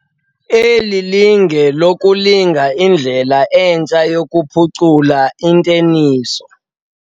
Eli linge lelokulinga indlela entsha yokuphucula inteniso.